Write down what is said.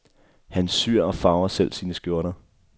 Han syr og farver selv sine skjorter.